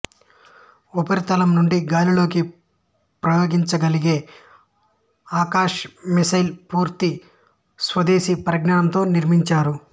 ఉపరితలం నుండి గాలిలోకి ప్రయోగించగలిగే ఆకాశ్ మిస్సైల్ పూర్తి స్వదేశీ పరిజ్ఞానంతో నిర్మించారు